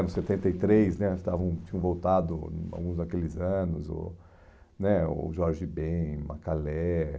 Nos anos setenta três né estavam tinham voltado, hum, alguns daqueles anos, o né o Jorge Ben, o Macalé.